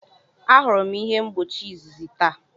Ahụrụ m ihe mgbochi izizi taa.